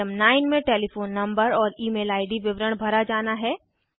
item 9 में telephone number और email ID विवरण भरा जाना है